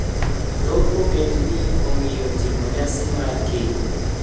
Thoth ogendini ongiyo timo nyasi mar keny.